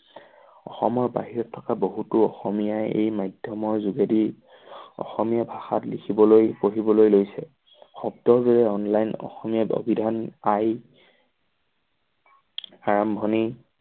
অসমৰ বাহিৰত থকা বহুতো অসমীয়াই এই মাধ্যমৰ যোগেদি অসমীয়া ভাষাত লিখিবলৈ পঢ়িবলৈ লৈছে। যোগত অনলাইন অসমীয়াত অভিধান পাই আৰম্ভণি